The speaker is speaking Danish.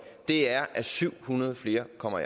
er at syv hundrede flere kommer